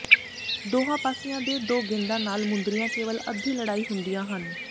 ਦੋਹਾਂ ਪਾਸਿਆਂ ਦੇ ਦੋ ਗੇਂਦਾਂ ਨਾਲ ਮੁੰਦਰੀਆਂ ਕੇਵਲ ਅੱਧੀ ਲੜਾਈ ਹੁੰਦੀਆਂ ਹਨ